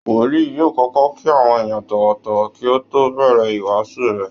Wòlíì yóò kọ́kọ́ kí àwọn èèyàn tọ̀wọ̀tọ̀wọ̀ kí ó tó bẹ̀rẹ̀ ìwáásù rẹ̀